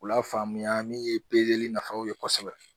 K'u lafaamuya min ye pezeli nafaw ye kosɛbɛ